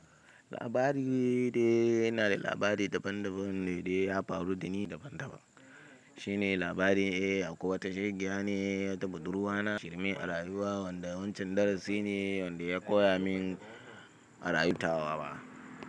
Labari ne de ina da labari daban daban ne de ya faru dani daban daban. Shi ne labarin ehh akwai wata shegeya ne, wata buɗurwa na shirme a rayuwa wanda wancan darasi ne wanda ya koya min a rayu tawa.